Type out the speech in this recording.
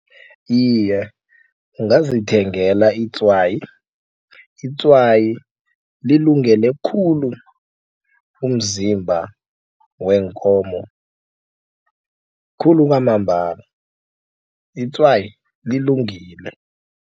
Iye, ungazithengela itswayi, itswayi lilungele khulu umzimba weenkomo khulu kwamambala itswayi lilungile.